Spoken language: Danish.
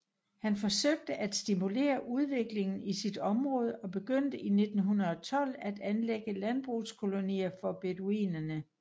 Han forsøgte at stimulere udviklingen i sit område og begyndte i 1912 at anlægge landbrugskolonier for beduinerne